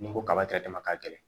Ni ko kaba tɛ dama ka gɛlɛn